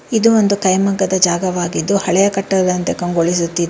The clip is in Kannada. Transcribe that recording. ಇದು ಒಂದು ಕೈಮಗ್ಗದ ಜಾಗವಾಗಿದ್ದು ಹಳೆಯ ಕಟ್ಟಡದಂತೆ ಕಂಗೊಳಿಸುತ್ತಿದೆ.